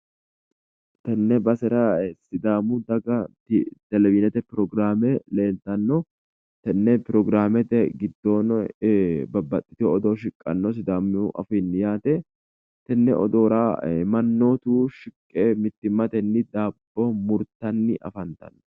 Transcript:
Tenne basera sidaamu dagati televizhiinete pirogiraame leeltanno. Tenne pirogiraamete giddoono babbaxxitiwo odoo shiqanno sidaamu afiinni yaate. Tenne odoora mannotu shiqqe mittimmatenni daabbo murtanni afantanno.